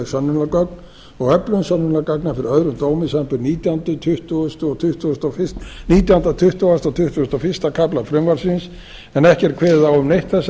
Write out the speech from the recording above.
sönnunargögn og öflun sönnunargagna fyrir öðrum dómi samanber nítjánda tuttugasta og tuttugasta og fyrsta kafla frumvarpsins en ekki er kveðið á um neitt þessara